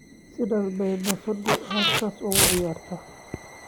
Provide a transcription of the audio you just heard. Sidee bay bisadu halkaas ugu ciyaartaa?